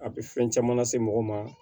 A bɛ fɛn caman lase mɔgɔ ma